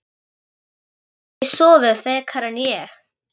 Gastu ekki sofið frekar en ég?